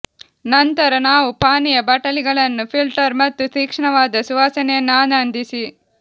ನಂತರ ನಾವು ಪಾನೀಯ ಬಾಟಲಿಗಳನ್ನು ಫಿಲ್ಟರ್ ಮತ್ತು ತೀಕ್ಷ್ಣವಾದ ಸುವಾಸನೆಯನ್ನು ಆನಂದಿಸಿ